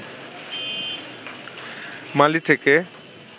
মালি থেকে